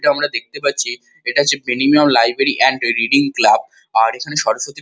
এটা আমরা দেখতে পাচ্ছি এটা হচ্ছে লাইব্রেরী এন্ড রেটিং ক্লাব আর এখানে সরস্বতী--